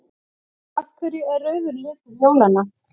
Af hverju er rauður litur jólanna?